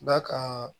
Da ka